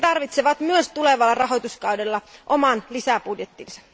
Ne tarvitsevat myös tulevalla rahoituskaudella oman lisäbudjettinsa.